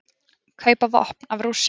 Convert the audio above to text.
Kaupa vopn af Rússum